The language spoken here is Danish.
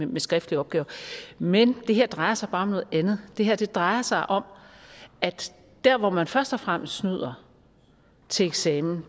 med skriftlige opgaver men det her drejer sig bare om noget andet det her drejer sig om at der hvor man først og fremmest snyder til eksamen